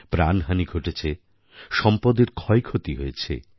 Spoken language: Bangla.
প্রাণহানি ঘটেছে সম্পদের ক্ষয়ক্ষতি হয়েছে